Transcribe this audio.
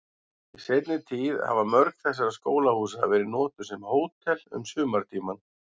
Í seinni tíð hafa mörg þessara skólahúsa verið notuð sem hótel um sumartímann.